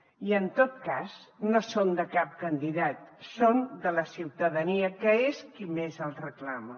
i en tot cas no són de cap candidat són de la ciutadania que és qui més els reclama